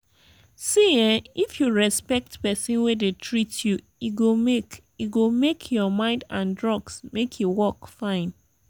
see ehnn if you respect person wey dey treat you e go make e go make your mind and drugs make e work fine.